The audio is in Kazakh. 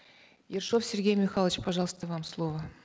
ершов сергей михайлович пожалуйста вам слово